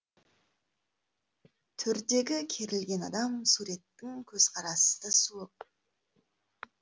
төрдегі керілген адам суреттің көзқарасы да суық